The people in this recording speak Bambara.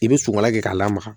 I bɛ sukala kɛ k'a lamaga